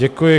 Děkuji.